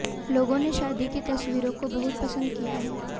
लोगों ने शादी की तसवीरों को बहुत पंसद किया है